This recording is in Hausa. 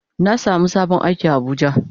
Na samu sabon aiki a abuja.